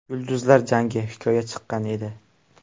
Yulduzlar jangi: Hikoya” chiqqan edi.